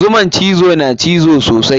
Zuman cizo na cizo sosai.